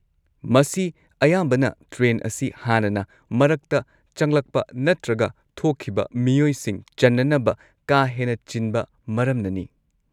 ꯃꯁꯤ ꯑꯌꯥꯝꯕꯅ ꯇ꯭ꯔꯦꯟ ꯑꯁꯤ ꯍꯥꯟꯅꯅ ꯃꯔꯛꯇ ꯆꯪꯂꯛꯄ ꯅꯠꯇ꯭ꯔꯒ ꯊꯣꯛꯈꯤꯕ ꯃꯤꯑꯣꯏꯁꯤꯡ ꯆꯟꯅꯅꯕ ꯀꯥ ꯍꯦꯟꯅ ꯆꯤꯟꯕ ꯃꯔꯝꯅꯅꯤ꯫